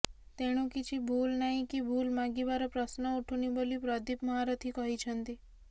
ତେଣୁ କିଛି ଭୁଲ ନାହିଁ କି ଭୁଲ ମାଗିବାର ପ୍ରଶ୍ନ ଉଠୁନି ବୋଲି ପ୍ରଦୀପ ମହାରଥୀ କହିଛନ୍ତି